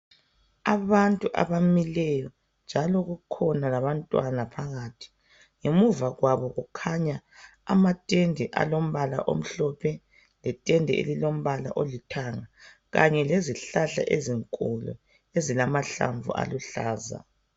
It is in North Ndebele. Abantu abamileyo njalo kukhona labantwana phakathi. Ngemuva kwabo kukhanya amatende alombala omhlophe ,letende elilombala olithanga kanye lezihlahla ezinkulu ezilamahlamvu aluhlaza.